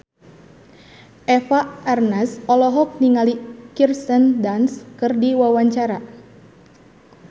Eva Arnaz olohok ningali Kirsten Dunst keur diwawancara